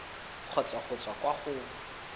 kgotsa go tswa kwa go